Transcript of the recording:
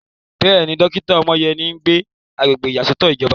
Bẹ́ẹ̀ni, dókítà Omoyeni sì ń gbé agbègbè ìyàsọ́tọ̀ ìjọba.